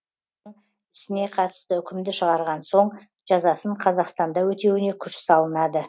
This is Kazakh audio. ісіне қатысты үкімді шығарған соң жазасын қазақстанда өтеуіне күш салынады